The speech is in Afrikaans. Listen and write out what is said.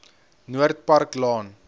noord park laan